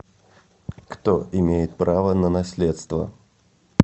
кто имеет право на наследство